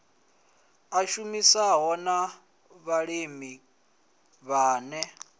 a tshumisano na vhalimi vhane